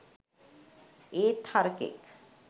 ඒත් හරකෙක්